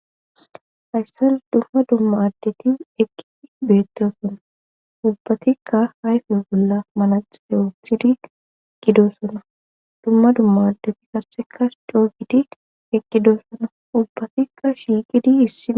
Hayssan dumma dumma addeti eqqidi beettoosona ubbatikka ayfa bolla manaxxire wothidi eqqidosona dumma dumma addeti qasseka coo gidi eqqidosona ubbatikka shiiqidi issi bolla